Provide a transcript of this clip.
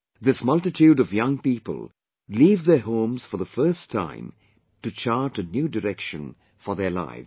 This multitude of young people leave their homes for the first time to chart a new direction for their lives